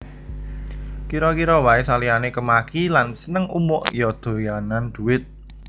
Kira kira wae saliyane kemaki lan seneng umuk ya doyanan dhuwit